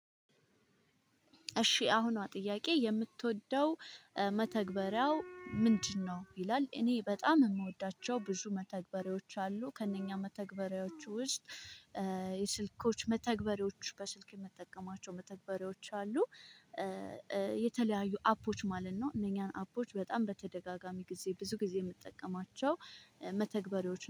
እሺ አሁን ጥያቄ የምትወደው መተግበሪያው ምንድነው? ይላል እኔ በጣም የምወዳቸው ብዙ መተግበሪያዎች አሉ ከእነኛ መተግበሪያዎቹ ውስጥ የስልኮች መተግበሪዎች በስልክ የምጠቀማቸው መተግበሪዎች አሉ። የተለያዩ አፖች ማለት ነው እነኛን አፖች በጣም በተደጋጋሚ ጊዜ ብዙ ጊዜ የምጠቀማቸው መተግበሪያዎች